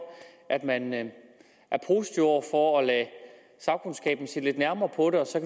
at man man er positive over for at lade sagkundskaben se lidt nærmere på det og så